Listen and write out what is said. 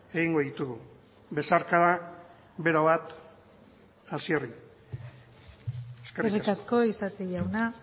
egingo ditugu besarkada bero bat hasierri eskerrik asko isasi jauna